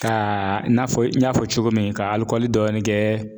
Kaa i n'a fɔ n y'a fɔ cogo min ka alikɔli dɔɔnin kɛ